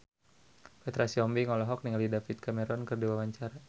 Petra Sihombing olohok ningali David Cameron keur diwawancara